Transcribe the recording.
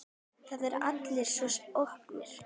Það eru allir svo opnir.